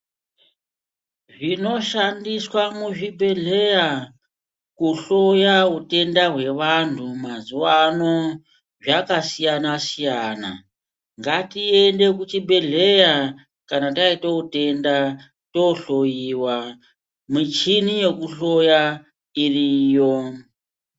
Zvinoshandiswa muzvibhedhleya kuhloya utenda hwevantu mazuvaano zvakasiyana-siyana, ngatiende kuchibhedhleya kana tayita utenda tohloyiwa, michini yekuhloya iriyo.